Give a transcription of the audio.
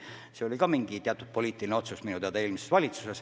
See oli minu teada eelmise valitsuse poliitiline otsus.